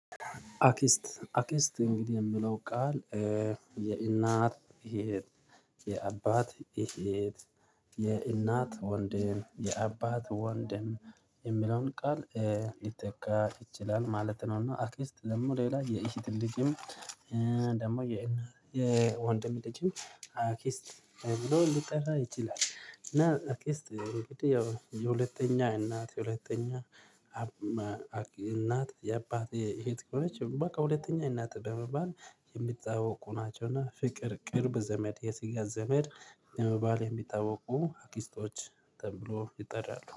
አክስት አክስት እንግዲህ የምለው ቃል የእናት የአባት የእናት ወንድም የአባት ወንድም የሚለውን ቃል ሊተካ ይችላል ማለት ነው። እና አክስት ደግሞ ሌላ የእህት ልጅም ደግሞ የወንድም ልጅም አክስት ተብሎ ሊጠራ ይችላል። እና አክስት ያው የሁለተኛ እናት የሁለተኛ እናት የአባት የሄድ ከሆነች በቃ ሁለተኛ እናት በመባል የሚታወቁ ናቸው። እና ፍቅር ቅርብ ዘመድ የስጋ ዘመድ በመባል የሚጠይቁ አኪስቶች ተብሎ ይጠራሉ